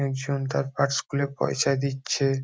একজন তার পার্স খুলে পয়সা দিচ্ছে।